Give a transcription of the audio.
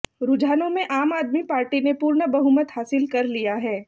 रुझानों में आम आदमी पार्टी ने पूर्ण बहुमत हासिल कर लिया है